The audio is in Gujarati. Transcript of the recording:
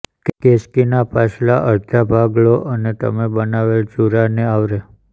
કેસ્કીના પાછલા અડધા ભાગ લો અને તમે બનાવેલ જુરાને આવરે